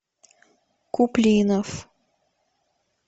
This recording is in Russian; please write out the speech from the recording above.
куплинов